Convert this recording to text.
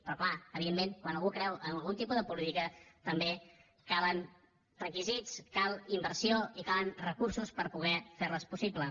però clar evidentment quan algú creu en algun tipus de política també calen requisits cal inversió i calen recursos per poder fer les possible